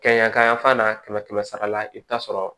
Kɛɲa ka yan fan na kɛmɛ kɛmɛ sara la i bɛ taa sɔrɔ